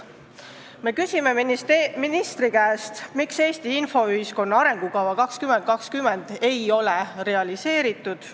Me küsime ministri käest, miks Eesti infoühiskonna arengukava 2020 ei ole realiseeritud.